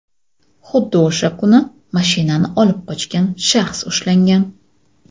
Xuddi o‘sha kuni mashinani olib qochgan shaxs ushlangan.